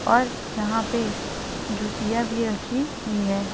और यहां पे जूतियां भी रखी हुई है।